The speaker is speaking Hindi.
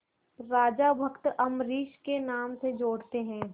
राजा भक्त अम्बरीश के नाम से जोड़ते हैं